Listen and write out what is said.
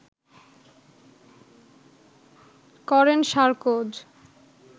করেন সার্কোজ